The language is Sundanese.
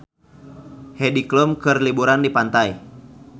Heidi Klum keur liburan di pantai